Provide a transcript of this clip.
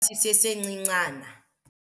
Sisesincincana.